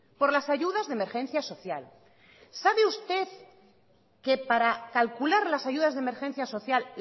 por las ayudas de emergencia social sabe usted que para calcular las ayudas de emergencia social